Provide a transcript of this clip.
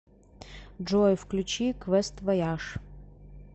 джой включи квест вояж